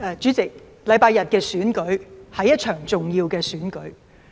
主席，本周日的選舉是一場重要的選舉。